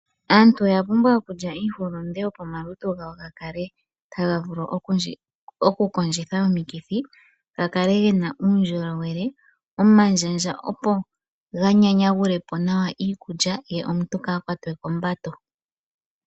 Aantu oya pumbwa okulya iihulunde, opo omalutu gawo gakale taga vulu okukondjitha omikithi, ya kale yena uukolele, omandjandja opo ga nyanyagule po nawa ikulya ye omuntu kaa kwatwe kombato.